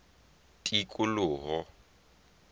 tikoloho